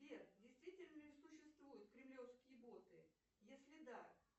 сбер действительно ли существуют кремлевские боты если да